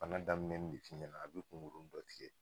Bana daminɛ de f'i ɲɛna a be kunkuruni dɔ tigɛ